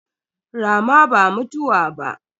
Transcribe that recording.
Rama ba mutuwa ba.